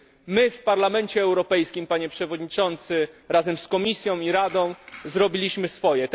My, w Parlamencie Europejskim, Panie Przewodniczący, razem z Komisją i Radą, zrobiliśmy swoje.